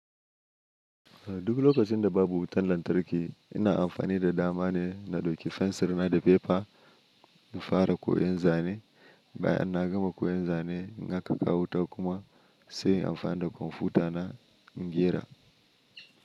Duk lokacin da babu wutan lantarki, ina amfani da dama ne na dauki fensir na da fefa in fara koyon zane. Bayan na gama koyon zane, in aka kawo wuta kuma sai in amfani da kwamfuta na in gera.